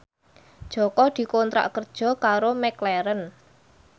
Jaka dikontrak kerja karo McLaren